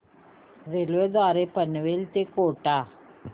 railway द्वारे पनवेल ते कोटा